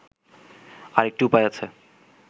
আরেকটি উপায় আছে